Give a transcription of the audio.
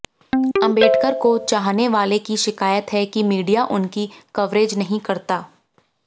अंबेडकर को चाहने वाले की शिकायत है कि मीडिया उनकी कवरेज़ नहीं करता